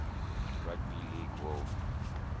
rugby league world